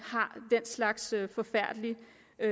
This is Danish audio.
slags forfærdelige